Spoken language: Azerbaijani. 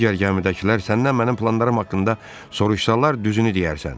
Digər gəmidəkilər səndən mənim planlarım haqqında soruşsalar, düzünü deyərsən.